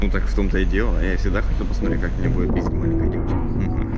так в том-то и дело я всегда хотел посмотреть как меня будет пиздить маленькая девочка